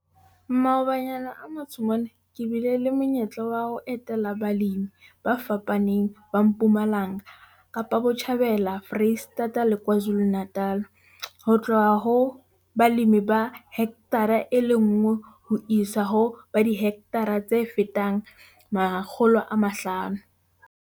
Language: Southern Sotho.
Maobanyana a matsho mona ke bile le monyetla wa ho etela balemi ba fapaneng ba Mpumalanga, Kaapa Botjhabela, Foreisetata le KwaZulu-Natal - ho tloha ho balemi ba hekthara e le nngwe ho isa ho ba dihekthara tse fetang 500.